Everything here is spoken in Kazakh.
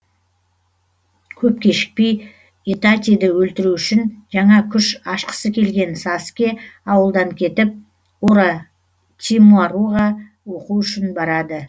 көп кешікпей итатиді өлтіру үшін жаңа күш ашқысы келген саскэ ауылдан кетіп оротимаруға оқу үшін барады